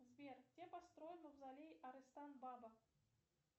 сбер где построен мавзолей арыстан баба